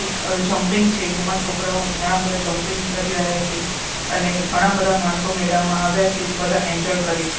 એક અ જમ્પિંગ છે જેમાં છોકરાઓ ઘણા બધા જમ્પિંગ કરી રહ્યા છે અને ઘણા બધા માણસો મેળા માં આવ્યા છે જે બધા એન્જોય કરે છે.